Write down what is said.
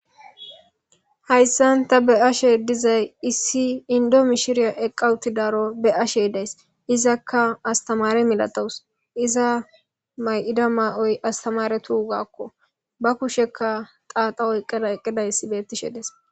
Haysan ta be'ashe dizay issi Indo mishiriya eqa utidaro be'ashe izakka aatamare milatawus iza Mayida mayoyi aatamaretugakko ba kushekka xaxa oykidays eqidays betishe Des